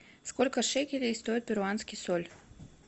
сколько шекелей стоит перуанский соль